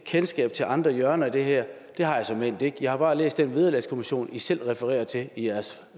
kendskab til andre hjørner af det her det har jeg såmænd ikke jeg har bare læst vederlagskommissionen i selv refererer til i jeres